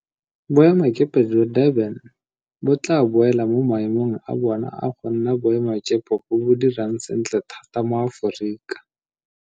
Boemakepe jwa Durban bo tla boela mo maemong a bona a go nna boemakepe bo bo dirang sentle thata mo Aforika.